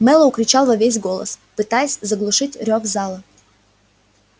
мэллоу кричал во весь голос пытаясь заглушить рёв зала